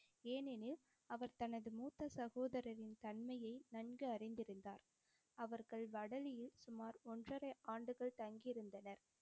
ஏனெனில் அவர் தனது மூத்த சகோதரரின் தன்மையை நன்கு அறிந்திருந்தார். அவர்கள் வடலியில் சுமார் ஒன்றரை ஆண்டுகள் தங்கியிருந்தனர்.